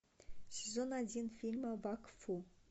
сезон один фильма вакфу